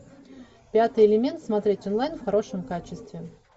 пятый элемент смотреть онлайн в хорошем качестве